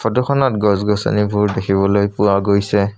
ফটোখনত গছ গছনিবোৰ দেখিবলৈ পোৱা গৈছে।